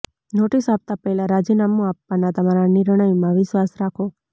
notice આપતા પહેલા રાજીનામું આપવાના તમારા નિર્ણયમાં વિશ્વાસ રાખો